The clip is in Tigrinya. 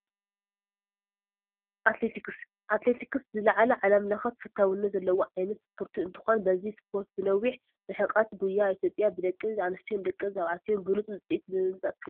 ኣትሌቲክስ-ኣትሌቲክስ ዝለዓለ ዓለም ለኸ ተፈታውነት ዘለዎ ዓይነት ስፖርቲ እንትኾን በዚ ስፖርት ብነዊሕ ርሕቐት ጉያ ኢትዮጵያ ብደቂ ኣነስትዮን ደቂ ተባዕትዮን ብሉፅ ውፅኢት ብምምፃእ ትፍለጥ፡፡